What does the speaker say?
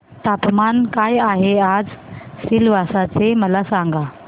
तापमान काय आहे आज सिलवासा चे मला सांगा